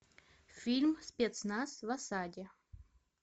фильм спецназ в осаде